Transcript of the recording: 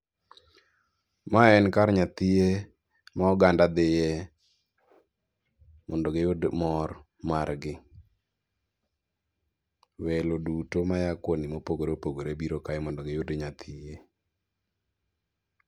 Mae en kar nyathie ma oganda dhiye mondo giyud mor margi. Welo duto maya kwonde mopogre opogre biro kae mondo giyud nyathie.